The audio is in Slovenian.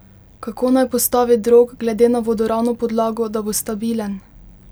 Kako naj postavi drog glede na vodoravno podlago, da bo stabilen?